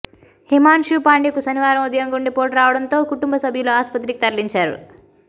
హిమాన్షు పాండ్యకు శనివారం ఉదయం గుండెపోటు రావడంతో కుటుంబ సభ్యులు ఆస్పత్రికి తరలించారు